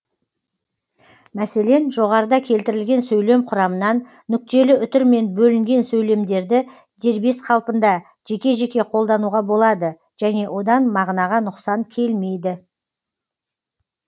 мәселен жоғарыда келтірілген сөйлем құрамынан нүктелі үтірмен бөлінген сөйлемдерді дербес қалпында жеке жеке қолдануға болады және одан мағынаға нұқсан келмейді